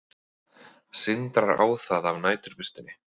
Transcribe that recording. Sindrar á það af næturbirtunni.